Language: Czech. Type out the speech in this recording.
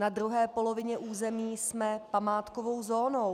Na druhé polovině území jsme památkovou zónou.